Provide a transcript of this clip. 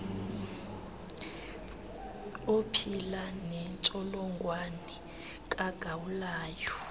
ophila nentsholongwane kagawulayo